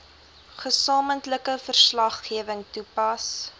gesamentlike verslaggewing toepas